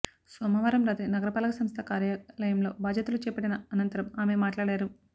సోమవారం రాత్రి నగర పాలక సంస్థ కార్యాలయంలో బాధ్యలు చేపట్టిన అనంతరం ఆమె మాట్లాడారు